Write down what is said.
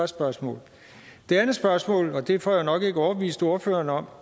spørgsmål det andet spørgsmål og det får jeg nok ikke overbevist ordføreren om